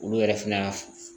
Olu yɛrɛ fɛnɛ y'a